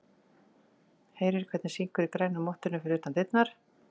Heyrir hvernig syngur í grænu mottunni fyrir utan dyrnar.